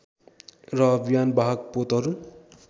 र विमानवाहक पोतहरू